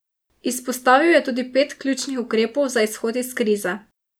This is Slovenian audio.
Izpostavil je tudi pet ključnih ukrepov za izhod iz krize.